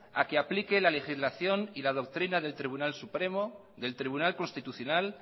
a que aplique la legislación y la doctrina del tribunal supremo del tribunal constitucional